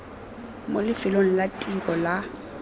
mo lefelong la tiro la